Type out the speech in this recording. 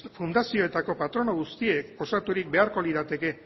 fundazioetako patronatu guztiek osaturik beharko lirateke